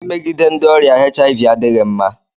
Imegide ndị ọrịa HIV adịghị mma.